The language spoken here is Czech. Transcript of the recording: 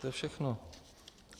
To je všechno.